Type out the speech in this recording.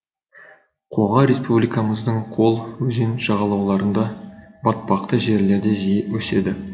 қоға республикамыздың көл өзен жағалауларында батпақты жерлерде жиі өседі